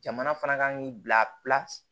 Jamana fana kan k'i bila